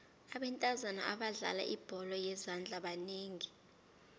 abentazana abadlala ibholo yezandla banengi